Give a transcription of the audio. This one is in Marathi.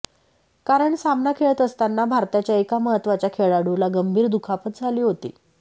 कारण सामना खेळत असताना भारताच्या एका महत्वाच्या खेळाडूला गंभीर दुखापत झाली होती